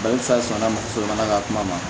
sɔnna muso fana ka kuma ma